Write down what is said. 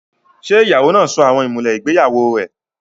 Ṣé ìyàwó náà sọ àwọn ìmùlẹ̀ ìgbéyàwó rẹ̀?